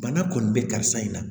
Bana kɔni bɛ karisa in na